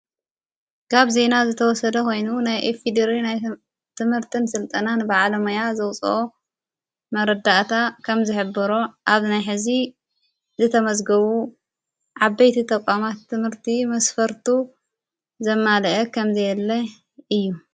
ጋብ ዘይና ዝተወሰደ ኾይኑ ናይ ኤፊድር ናይ ትምህርትን ሥልጠናን በዓለመያ ዘውፅኦ መረዳእታ ከም ዘሕብሮ ኣብ ናይ ሕዚ ዝተመዘግቡ ዓበይቲ ተቛማት ትምህርቲ መስፈርቱ ዘማልአ ኸም ዘየለ እዩ።